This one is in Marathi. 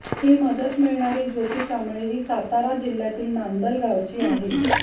ही मदत मिळणारी ज्योती कांबळे ही सातारा जिल्हय़ातील नांदल गावची आहे